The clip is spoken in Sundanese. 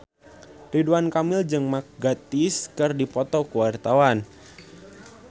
Ridwan Kamil jeung Mark Gatiss keur dipoto ku wartawan